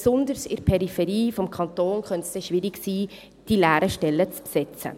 Denn besonders in der Peripherie des Kantons könnte es dann schwierig sein, die leeren Stellen zu besetzen.